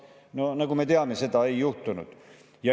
" No nagu me teame, seda ei juhtunud.